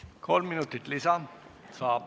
Kolm minutit lisa saab.